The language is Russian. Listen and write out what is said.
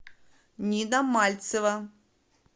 нина мальцева